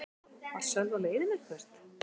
Var Sölvi á leiðinni eitthvert?